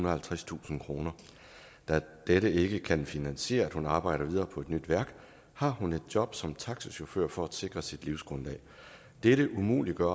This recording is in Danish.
og halvtredstusind kroner da dette ikke kan finansiere at hun arbejder videre på et nyt værk har hun et job som taxachauffør for at sikre sit livsgrundlag dette umuliggør